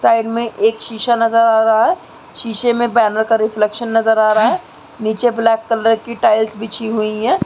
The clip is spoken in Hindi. साइड में एक शीशा नजर आ रहा है। शीशा में बैनर का रिफ्लेक्शन नजर आ रहा है। नीचे ब्लैक कलर की टाईल्स बिछी हुई हैं।